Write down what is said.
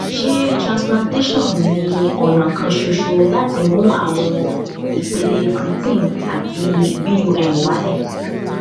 ṣé transplantation ni ọnà kan ṣoṣo láti mú àwọn ìpele creatinine àti bun wálẹ